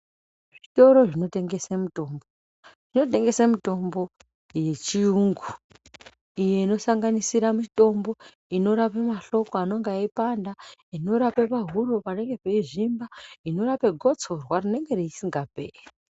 Zvitoro zvinotengese mitombo, zvinotengese mitombo yechiyungu iyo inosanganisire iyo inorape mahloko anenge eipanda, inorape pahuro panenge peizvimba, inorape gotsorwa rinenge risingaperi.